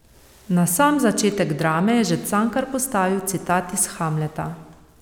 Na sam začetek drame je že Cankar postavil citat iz Hamleta.